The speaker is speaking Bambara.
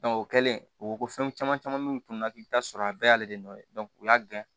o kɛlen o ko ko fɛn caman caman sɔrɔ a bɛɛ y'ale de nɔ ye o y'a gɛn